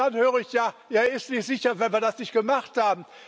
Und dann höre ich, er ist nicht sicher, wenn man das nicht gemacht hat.